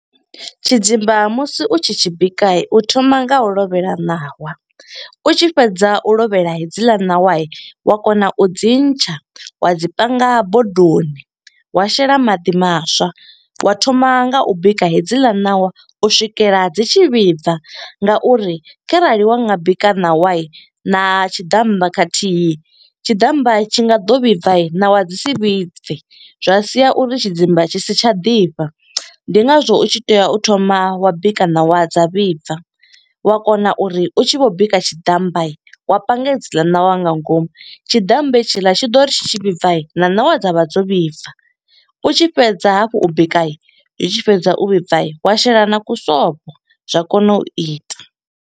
Tshidzimba musi u tshi tshi bika, u thoma nga u lovhela ṋawa. U tshi fhedza u lovhela hedzila ṋawa wa kona u dzi ntsha wa dzi panga bodoni, wa shela maḓi maswa. Wa thoma nga u bika hedziḽa ṋawa u swikela dzi tshi vhibva, nga uri kharali wa nga bika ṋawa na tshiḓammba khathihi, tshiḓammba tshi nga ḓo vhibva, ṋawa dzi si vhibve. Zwa sia uri tshidzimba tshi si tsha ḓifha, ndi ngazwo u tshi tea u thoma wa bika ṋawa dza vhibva. Wa kona uri u tshi vho bika tshiḓammba, wa panga hedziḽa ṋawa nga ngomu. Tshiḓammba hetshiḽa tshi ḓo ri tshi tshivhibva na ṋawa dza vha dzo vhibva. U tshi fhedza hafhu u bika, zwi tshi fhedza u vhibva wa shela na ku sobo, zwa kona u ita.